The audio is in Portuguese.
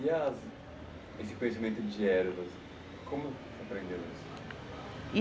E esse conhecimento de ervas, como você aprendeu eles?